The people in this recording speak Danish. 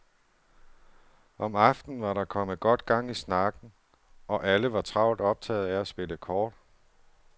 Om aftenen var der kommet godt gang i snakken, og alle var travlt optaget af at spille kort.